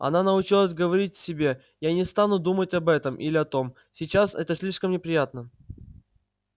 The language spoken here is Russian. она научилась говорить себе я не стану думать об этом или о том сейчас это слишком неприятно